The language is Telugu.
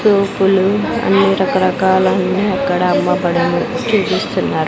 రూఫులు అన్ని రకరకాల అన్ని అక్కడ అమ్మబడును .